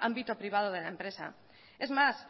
ámbito privado de la empresa es más